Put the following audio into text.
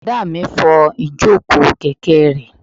Bùrọ̀dá mi n fọ ìjòkó kẹ̀kẹ́ rẹ̀